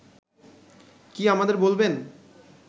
কি আমাদের বলবেন